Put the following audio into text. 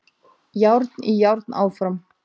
Járn í járn áfram